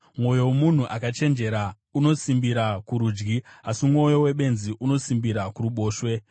Mwoyo womunhu akachenjera unosimbira kurudyi, asi mwoyo webenzi unosimbira kuruboshwe.